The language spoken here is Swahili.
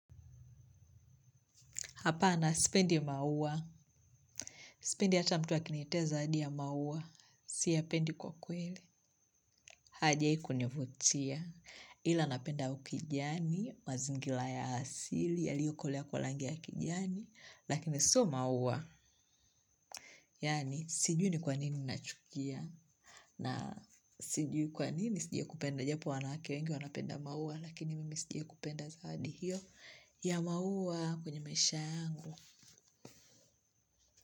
Hapana, sipendi maua. Sipendi hata mtu akinitia zawadi ya maua. Siyapendi kwa kweli. Haijawahi kunivutia. Ila napenda ukijani, mazingira ya asili, yaliyo okolea kwa rangi ya kijani. Lakini sio maua. Yaani, siju ni kwa nini nachukia. Na sijui kwa nini sijai kupenda japo wanawake wengi wanapenda maua. Lakini mimi sijai kupenda zawadi hiyo. Ya maua kwenye maisha yangu.